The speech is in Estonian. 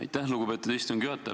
Aitäh, lugupeetud istungi juhataja!